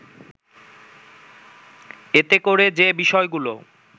এতে করে যে বিষয়গুলো